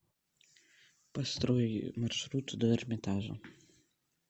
построй маршрут до эрмитажа